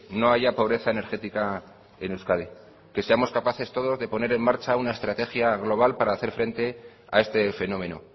no haya pobreza energética en euskadi que seamos capaces todos de poner en marcha una estrategia global para hacer frente a este fenómeno